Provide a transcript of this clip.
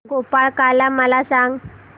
गोपाळकाला मला सांग